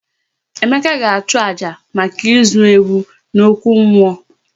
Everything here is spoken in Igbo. Emeka ga achu àjà maka ịzụ ewu n'okwu mmụọ